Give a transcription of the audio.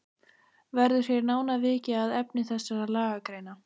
Verður hér nánar vikið að efni þessara lagagreina.